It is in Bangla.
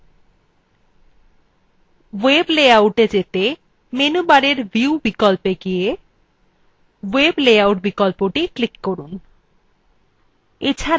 web layoutএ যেতে menu bar view বিকল্পে গিয়ে web layout বিকল্পে click করুন